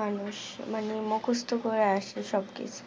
মানুষ মানে মুকস্ত করে আসে সব কিছু